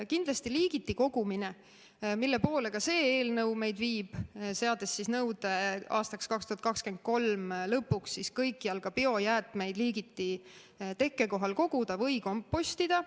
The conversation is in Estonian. Kindlasti liigiti kogumine, mille poole ka see eelnõu meid viib, seades nõude aastaks 2023 lõpuks kõikjal ka biojäätmeid liigiti tekkekohal koguda või kompostida.